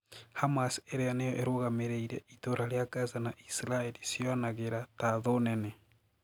Hamas iria niyo irũgamiriire itũra ria Gaza na Israel ciyonagira ta thũũ nene.